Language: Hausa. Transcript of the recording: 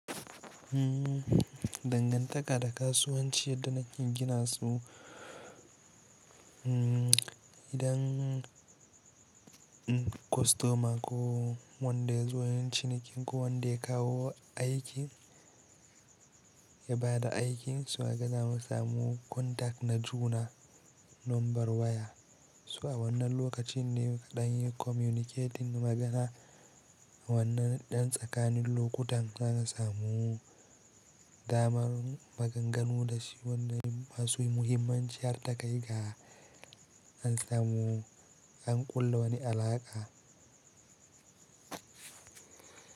Dangantaka da kasuwanci yadda na ke gina su idan kostoma ko wanda ya zo yin ciniki ko wanda ya kawo aikin ya ba da aikin, so kaga zamu samu contact na juna number waya. So a wannan lokacin ne kaɗan yi communicating magana wannan ɗan tsakanin lokutan za ka samu damar maganganu da shi. Wannan masu muhimmancin hartakai ga an samu an kulla wani alaƙa.